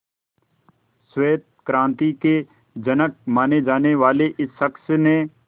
श्वेत क्रांति के जनक माने जाने वाले इस शख्स ने